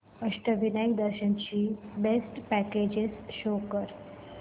अष्टविनायक दर्शन ची best packages show कर